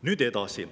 Nüüd edasi.